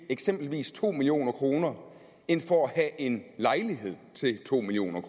eksempelvis to million kroner end for at have en lejlighed til to million